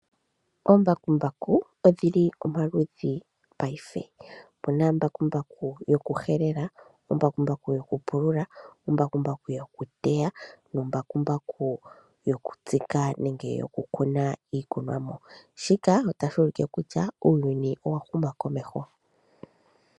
Oombakumbaku odhili omaludhi paife. Opuna ombakumbaku yokuhelela, ombakumbaku yokupulula, ombakumbaku yokuteya nombakumbaku yokutsika nenge yokukuna iikunomwa, shika otashi ulike kutya uuyuni owahuma komeho.